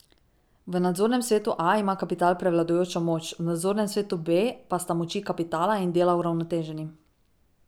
V nadzornem svetu A ima kapital prevladujočo moč, v nadzornem svetu B pa sta moči kapitala in dela uravnoteženi.